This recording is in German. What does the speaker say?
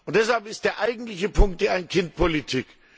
Deshalb ist der eigentliche Punkt die Ein Kind Politik.